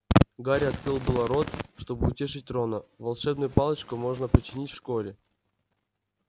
гарри открыл было рот чтобы утешить рона волшебную палочку можно починить в школе